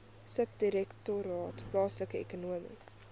subdirektoraat plaaslike ekonomiese